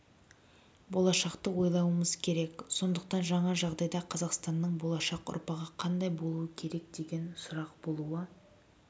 болашақты ойлауымыз керек сондықтан жаңа жағдайда қазақстанның болашақ ұрпағы қандай болуы керек деген сұрақ болуы